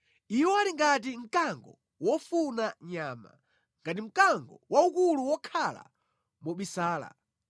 Iwo ali ngati mkango wofuna nyama; ngati mkango waukulu wokhala mobisala.